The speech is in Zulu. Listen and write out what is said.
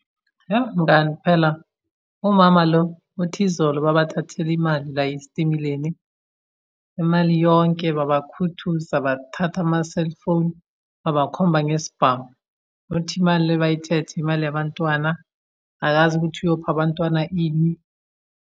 Yoh, mngani phela, umama lo uthi izolo babathathele imali la esitimeleni. Imali yonke babakhuthuza, bathatha amaselfoni, babakhomba ngesibhamu. Uthi imali le abayithethe imali yabantwana, akazi ukuthi uyopha abantwana ini.